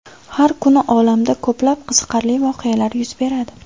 Har kuni olamda ko‘plab qiziqarli voqealar yuz beradi.